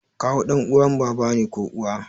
Kawu ɗan uwan baba ne ko uwa